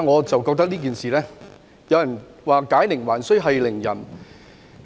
就此，有人認為"解鈴還須繫鈴人"。